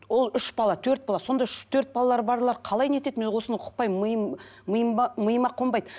ол үш бала төрт бала сонда үш төрт балалары барлар қалай не етеді мен осыны ұқпаймын миым миым миыма қонбайды